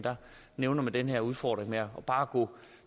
nævner man den her udfordring med bare at gå